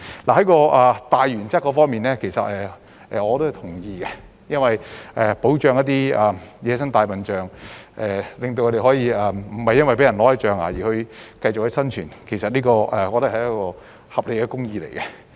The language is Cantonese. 在大原則方面，其實我是同意的，因為保護野生大象，令牠們不會被奪象牙並可繼續生存，我認為是合理的公義。